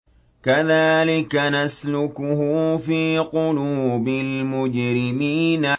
كَذَٰلِكَ نَسْلُكُهُ فِي قُلُوبِ الْمُجْرِمِينَ